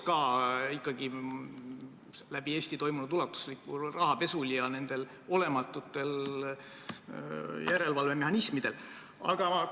Ikkagi on läbi Eesti toimunud ulatuslikul rahapesul ja nendel olematutel järelevalvemehhanismidel ilmselge seos.